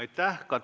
Aitäh!